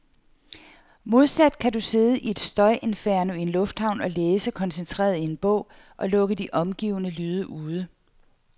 Modsat kan du sidde i et støjinferno i en lufthavn og læse koncentreret i en bog, og lukke de omgivende lyde ude.